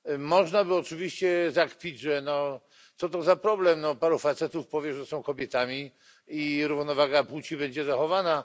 Można by oczywiście zakpić, że co to za problem, paru facetów powie, że są kobietami, i równowaga płci będzie zachowana.